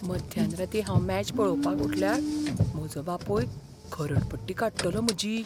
मध्यानरातीं हांव मॅच पळोवपाक उठल्यार म्हजो बापूय खरडपट्टी काडटलो म्हजी.